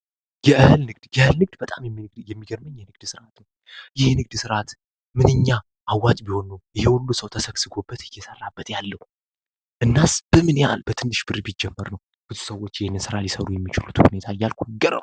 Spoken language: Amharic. እአህል የንግድንግድ ይህ ስርአት ምንኛ አዋጅ ቢሆኑ የሁሉ ሰው ተሰግስጎበት ይሰራበት ያለው ምን ያህል በትንሽ ብር ቢጨመር ነው የሰሩ የሚችሉት ሁኔታ